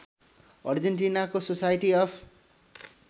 अर्जेन्टिनाको society of